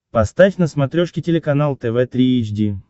поставь на смотрешке телеканал тв три эйч ди